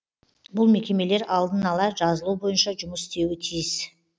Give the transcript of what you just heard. бұл мекемелер алдын ала жазылу бойынша жұмыс істеуі тиіс